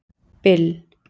Bill